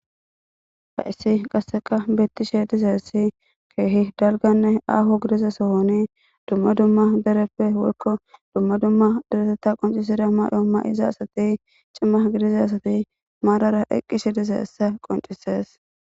haissi qasseka bettishe dize essi keehi dalganne aho gidiza sohoni dumma dumma dereppe worko dumma dumma dereteta qoncisida maay7o ma7iza asati cima gidiza asati maarara eqqishe dize essa qoncises